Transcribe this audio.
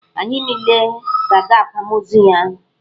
Anyị niile ga-aga akwamozu ya.